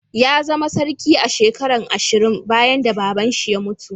Ya zama sarki a'shekaran ashirin bayan da baba'n shi ya mutu.